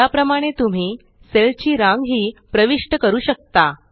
या प्रमाणे तुम्ही सेल ची रांग ही प्रविष्ट करू शकता